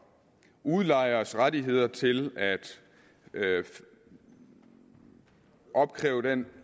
udlejers rettigheder til at opkræve den